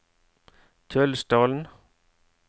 Kjølsdalen